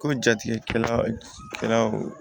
Ko jatigɛw